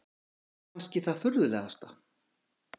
Það er kannski það furðulegasta.